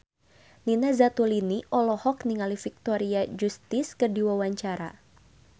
Nina Zatulini olohok ningali Victoria Justice keur diwawancara